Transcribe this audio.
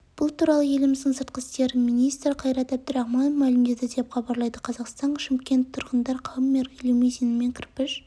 бұл туралы еліміздің сыртқы істер министрі қайрат әбдірахманов мәлімдеді деп хабарлайды қазақстан шымкентте тұрғындар хаммер лимузинімен кірпіш